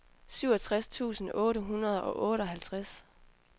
syvogtres tusind otte hundrede og otteoghalvtreds